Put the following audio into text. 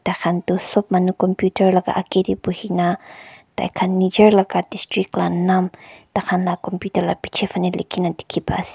tai khan toh sob manu computer aga agae tae bhuina tai khan nijor laga district laga nam tai khan laga computer laga pichey faney dekhi pai ase.